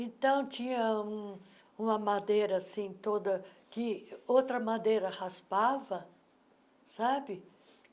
Então, tinha um uma madeira assim toda, que outra madeira raspava, sabe?